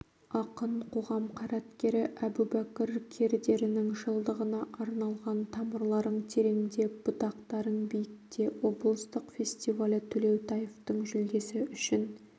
ақын қоғам қайраткері әбубәкір кердерінің жылдығына арналған тамырларың тереңде бұтақтарың биікте облыстық фестивалі төлеутаевтың жүлдесі үшін